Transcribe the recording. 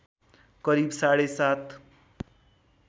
करिब साढे सात